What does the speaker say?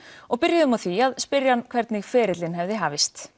og byrjuðum á því að spyrja hann hvernig ferillinn hefði hafist